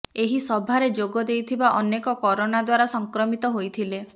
ଏହି ସଭାରେ ଯୋଗ ଦେଇଥିବା ଅନେକ କରୋନା ଦ୍ୱାରା ସଂକ୍ରମିତ ହୋଇଥିଲେ